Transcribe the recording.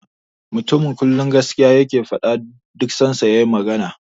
The man always say the truth whenever he speaks.